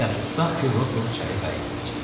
Yaxşı, tutaq ki, Rokov çaya qayıtmayacaq.